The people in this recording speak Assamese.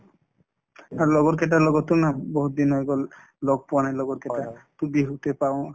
আৰু লগৰ কেইটাৰ লগতো না বহুতদিন হৈ গল লগ পোৱা নাই লগৰ কেইটাক to বিহুতে পাওঁ